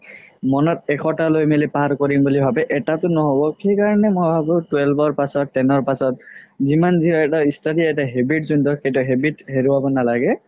মনত এশটা লই মিলি পাৰ কৰিম বুলি ভাবে এটাও নহ'ব সেইকাৰণে মই ভাবো twelve ৰ পাছত ten ৰ পাছত যিমান যি হয় study এটা habit যোনতো সেইটো habit হেৰুবা নালাগে